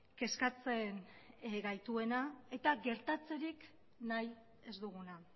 kezkatzen gaituena eta gertatzerik nahi ez duguna